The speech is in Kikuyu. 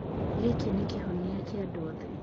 Gĩkĩ nĩ kĩhonia kĩa andũ othe.